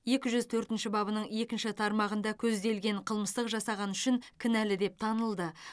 екі жүз төртінші бабының екінші тармағында көзделген қылмысты жасағаны үшін кінәлі деп танылды